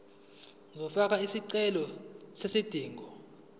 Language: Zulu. uzofaka isicelo sezidingo